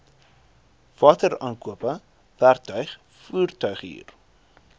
wateraankope werktuig voertuighuur